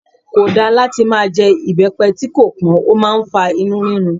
Kò dá láti máa jẹ ibepe tí kò pọn, ó máa ń fa inú rírun.